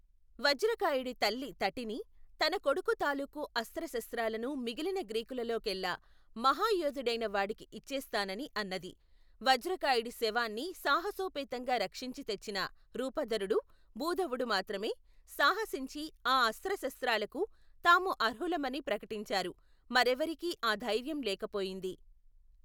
వజ్రకాయుడి తల్లి తటిని, తన కొడుకు తాలూకు అస్త్రశస్త్రాలను మిగిలిన గ్రీకులలో కెల్లా మహయోధుడైన వాడికి ఇచ్చేస్తా నని అన్నది వజ్రకాయుడి శవాన్ని సాహసోపేతంగా రక్షించి తెచ్చిన రూపధరుడు భూధవుడూ మాత్రమే సాహసించి ఆ అస్త్రశస్త్రాలకు తాము అర్హులమని ప్రకటించారు మరేవరికీ ఆ ధైర్యం లేకపోయింది.